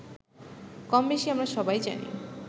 কমবেশি আমরা সবাই জানি